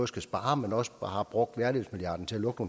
skal spare men også har brugt værdighedsmilliarden til at lukke